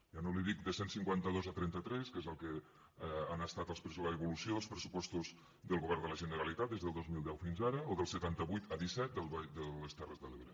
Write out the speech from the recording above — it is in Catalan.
ja no li dic de cent i cinquanta dos a trenta tres que és el que ha estat l’evolució dels pressupostos del govern de la generalitat des del dos mil deu fins ara o dels setanta vuit a disset de les terres de l’ebre